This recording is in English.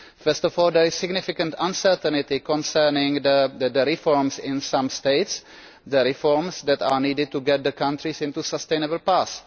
First of all, there is significant uncertainty concerning the reforms in some states the reforms that are needed to get the countries on a sustainable path.